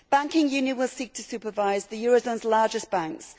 Banking union will seek to supervise the eurozone's largest banks.